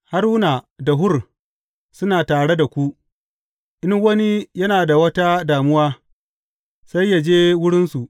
Haruna da Hur suna tare da ku, in wani yana da wata damuwa, sai yă je wurinsu.